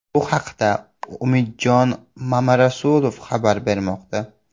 Bu haqda Umidjon Mamarasulov xabar bermoqda.